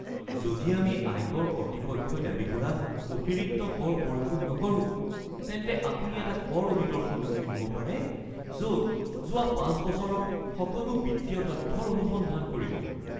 যদি আমি আয়কৰ কৰ্তৃপক্ষই দাবী কৰা অতিৰিক্ত কৰ পৰিশোধ নকৰোঁ, তেন্তে আপুনি এটা কৰ অডিটৰ সন্মুখীন হ’ব পাৰে য'ত যোৱা ৫ বছৰৰ সকলো বিত্তীয় তথ্যৰ অনুসন্ধান কৰিব। (একাউণ্টেণ্ট)